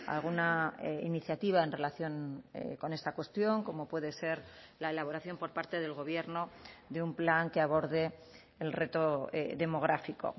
alguna iniciativa en relación con esta cuestión como puede ser la elaboración por parte del gobierno de un plan que aborde el reto demográfico